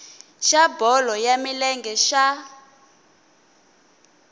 xa bolo ya milenge xa